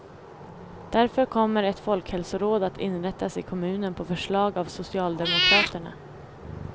Därför kommer ett folkhälsoråd att inrättas i kommunen på förslag av socialdemokraterna.